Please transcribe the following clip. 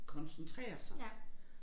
Koncentrere sig